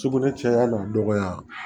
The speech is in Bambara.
Sugunɛ caya n'o dɔgɔya